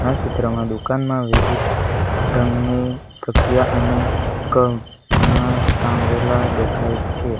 ચિત્રમાં દુકાનમાં વિવિધ રંગની તકિયા અને કપડા ટાંગેલા દેખાય છે.